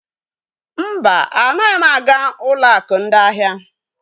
Mba, anaghị aga ụlọ akụ ndị ahịa.